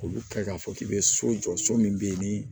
K'olu kɛ k'a fɔ k'i bɛ so jɔ so min bɛ yen ni